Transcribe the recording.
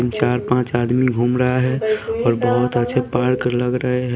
चार-पांच आदमी घूम रहा है और बहुत अच्छे पार्क लग रहे हैं।